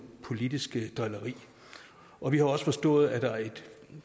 politisk drilleri og vi har også forstået at der er et